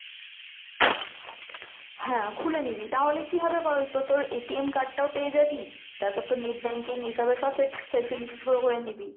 হ্যাঁ খুলে নিবি তাহলে কি হবে বলতো তোর card টাও পেয়ে যাবি, তারপর তোর net banking এসবের সব facilities গুলো করে নিবি।